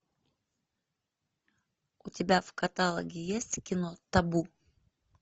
у тебя в каталоге есть кино табу